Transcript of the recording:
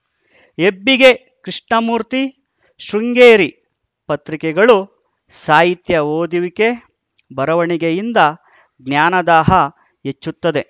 ಹೆಬ್ಬಿಗೆ ಕೃಷ್ಣಮೂರ್ತಿ ಶೃಂಗೇರಿ ಪತ್ರಿಕೆಗಳು ಸಾಹಿತ್ಯ ಓದುವಿಕೆ ಬರವಣಿಗೆಯಿಂದ ಜ್ಞಾನದಾಹ ಹೆಚ್ಚುತ್ತದೆ